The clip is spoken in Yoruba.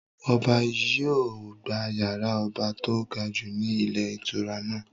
Ọba yìí ó gbà yàrá ọba to gajù ni ilé ìtura náà.